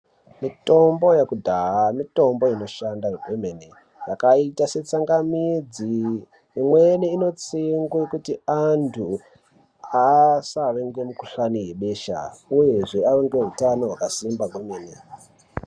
Mitombo yekudhaya mutombo inoshanda kwemene yakaita setsanga midzi imweni inotsengwe kuti antu asave nemukhuhlani webesha uyezve vave neutano hwakasimba kwemene.